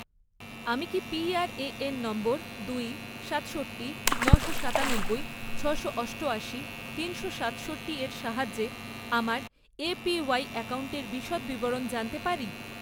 আমি কি PRAN number দুই, সাতষট্টি, নশো সাতানব্বই, ছশো অষ্টয়াশি, তিনশো সাতষট্টির সাহায্যে আমার এপিওয়াই অ্যাকাউন্টের বিশদ বিবরণ জানতে পারি?